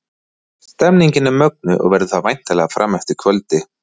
Stemningin er mögnuð og verður það væntanlega fram eftir kvöldi!